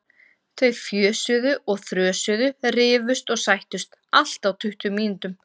Þau fjösuðu og þrösuðu, rifust og sættust, allt á tuttugu mínútum.